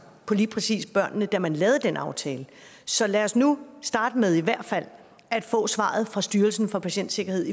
på lige præcis børnene da man lavede den aftale så lad os nu starte med i hvert fald at få svaret fra styrelsen for patientsikkerhed